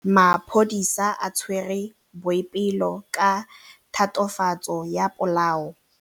Maphodisa a tshwere Boipelo ka tatofatsô ya polaô.